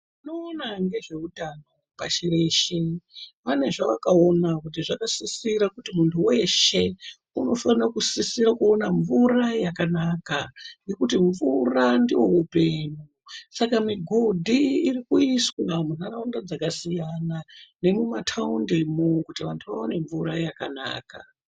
Vanoona ngezveutabo kazhinji vane zvavakaona kuti muntu weshe unifanira kusisirekuona mvura yakanaka ngekuti mvura ndoupenyu saka migodhi irikuiswa mundaraunda dzakasiyana nemumataundi kuti vantu vaone mvura yakanaka.